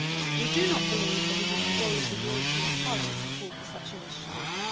We do not believe that it is the role of the European Parliament to call for such initiatives.